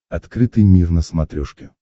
открытый мир на смотрешке